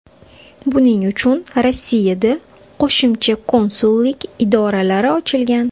Buning uchun Rossiyada qo‘shimcha konsullik idoralari ochilgan.